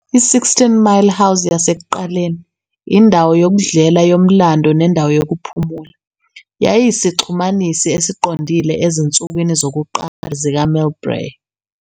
I-Sixteen Mile House yasekuqaleni, indawo yokudlela yomlando nendawo yokuphumula, yayiyisixhumanisi esiqondile ezinsukwini zokuqala zikaMillbrae.